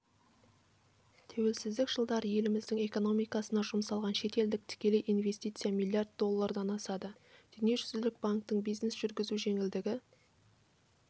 тәуелсіздік жылдары еліміздің экономикасына жұмсалған шетелдік тікелей инвестиция миллиард доллардан асады дүниежүзілік банктің бизнес жүргізу жеңілдігі